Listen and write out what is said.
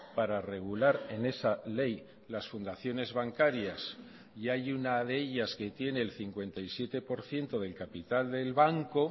para regular en esa ley las fundaciones bancarias y hay una de ellas que tiene el cincuenta y siete por ciento del capital del banco